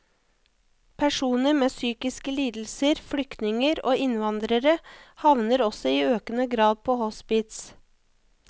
Personer med psykiske lidelser, flyktninger og innvandrere havner også i økende grad på hospits.